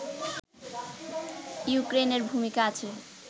ইউক্রেইনের ভূমিকা আছে